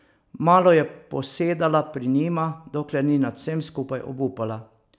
Malo je posedala pri njima, dokler ni nad vsem skupaj obupala.